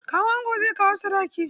Kawun ango zai kawo sadaki.